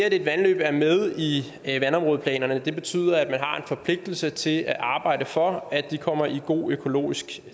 et vandløb er med i vandområdeplanerne betyder at man har en forpligtelse til at arbejde for at de kommer i god økologisk